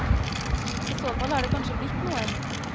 I så fall har det kanskje blitt noen.